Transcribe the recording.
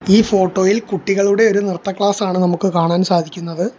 ഈ ഫോട്ടോ യിൽ കുട്ടികളുടെ ഒരു നൃത്ത ക്ലാസ്സാണ് നമുക്ക് കാണാൻ സാധിക്കുന്നത്.